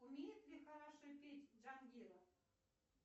умеет ли хорошо петь джангиров